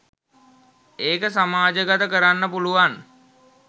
ඒක සමාජගත කරන්න පුළුවන්